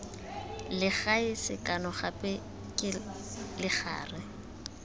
legae sekano gape ke legare